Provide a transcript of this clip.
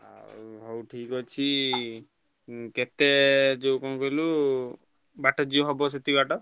ଆଉ ହଉ ଠିକ୍ ଅଛି ଉଁ କେତେ ଯୋଉ କଣ କହିଲୁ ବାଟ ଯିଏ ହବ ସେତିକି ବାଟ।